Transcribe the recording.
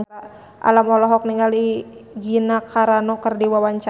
Alam olohok ningali Gina Carano keur diwawancara